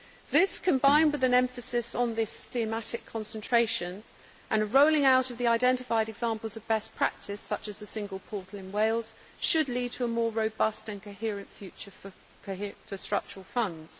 This, combined with an emphasis on this thematic concentration and rolling out of the identified examples of best practice such as the single portal in Wales, should lead to a more robust and coherent future for Structural Funds.